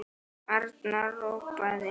Arnar ropaði.